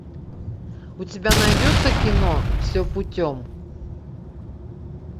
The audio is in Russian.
у тебя найдется кино все путем